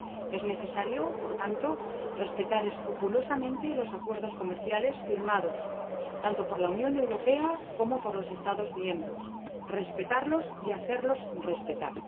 Es necesario, por tanto, respetar escrupulosamente los acuerdos comerciales firmados tanto por la Unión Europea como por los Estados miembros respetarlos y hacerlos respetar.